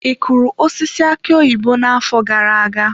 Ị kụrụ osisi aki oyibo n'afọ gara aga?